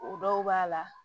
O dɔw b'a la